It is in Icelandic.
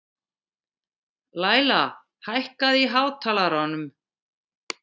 Læla, hækkaðu í hátalaranum.